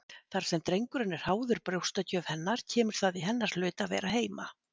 Þar sem drengurinn er háður brjóstagjöf hennar kemur það í hennar hlut að vera heima.